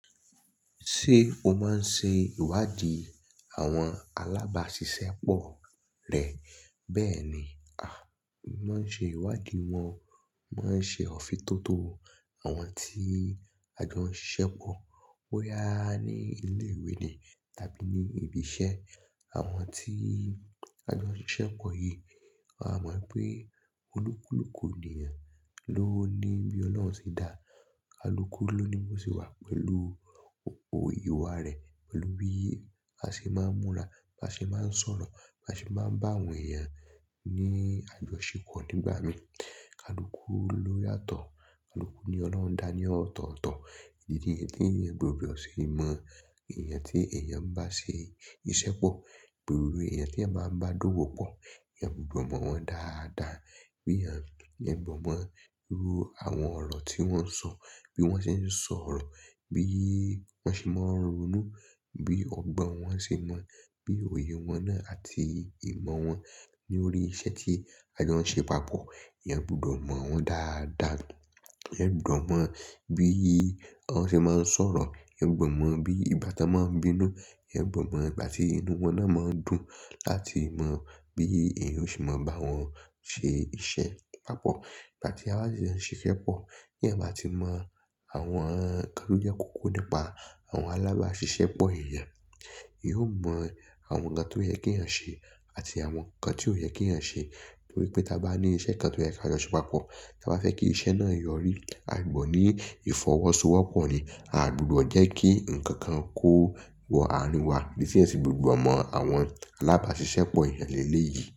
Ṣé o máa ń ṣe ìwádìí àwọn alábáṣiṣẹ́ pọ̀ rẹ? Bẹ́ẹ̀ ni, a máa ń ṣe ìwádìí wọn o, mo máa ń ṣe òfin tó tó àwọn tí a jọ n siṣẹ́ pọ̀, boya ní ilé ìwé ni tàbí ní ibi iṣẹ́. Àwọn tí a jọ n siṣẹ́ pọ̀ yìí, a mọ̀ pé olúkúlùkù ènìyàn ló ní bí olohun se dáa, kaluku ló ní bó se wà pẹ̀lú o, ìwà rẹ̀, pẹ̀lú bí a ṣe máa ń múra, bá ṣe máa ń sọ̀rọ̀, bá ṣe máa ń bá àwọn èèyàn ní àjọṣepọ̀ nígbà mìí. Kaluku ló yàtọ̀, ni ọlọ́hun dá a ní ọ̀tọ̀ọ̀tọ̀. Idi eleyii nì èèyàn gbodo ṣe mọ̀, èèyàn tí èèyàn bá ṣe iṣẹ́ pọ̀, gbogbo èèyàn tí eeyan báa ń bá dówó pọ̀, ìyẹn gbudo mọ̀ wọ́n dáadáa, bí èèyàn gbọ̀ mọ́ irú àwọn ọ̀rọ̀ tí wọ́n sọ, bí wọ́n ṣe ń sọ̀rọ̀, bí wọ́n ṣe máa ń ronú, bí ọgbọ́n wọn ṣe mọ́, bí òye wọn náà àti ìmọ̀ wọn lórí iṣẹ́ tí a jọ n ṣe papọ̀. Eeyan gbudo mọ̀ wọ́n dáadáa, eeyan gbudo mọ̀ bí wọ́n ṣe máa ń sọ̀rọ̀, eeyan gbudo mọ̀ bí igba tan máa ń bínú, eeyan gbudo mọ̀ ìgbà tí inú wọn náà máa ń dùn láti mọ̀ bí èèyàn o ṣe máa bá wọn ṣe iṣẹ́ papọ̀. Ìgbà tí aba sì fe siṣẹ́ pọ̀, bí eeyan báa ti mọ̀ àwọn nǹkan tó jẹ́ kò kó nípa àwọn alábáṣiṣẹ́ pọ̀ èèyàn, eeyan o mọ̀ àwọn nǹkan tí ó yẹ kí èèyàn ṣe àti àwọn nǹkan tí ò yẹ kí èèyàn ṣe. Nítorí pé tí a bá ní iṣẹ́ kan tó yẹ kí a jọ ṣe papọ̀, tí a bá fẹ́ kí iṣẹ́ náà yọrí, a gbọ̀dọ ní ìfọwọ́sowọ́pọ̀ ni, a gbudọ jẹ́ kí ǹkan kan kó wọ àrín wá. Níṣe ẹ sì gbòògbò mọ̀ àwọn alábáṣiṣẹ́ pọ̀ èèyàn léyìí.